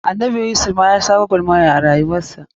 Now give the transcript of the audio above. Annabi Yusuf ma ya sha gwagwarmaya a rayuwar sa.